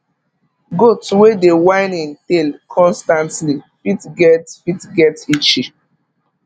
goat wey dey whine in tail constantly fit get fit get itchy